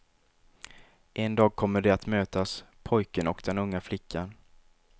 En dag kommer de att mötas, pojken och den unga flickan.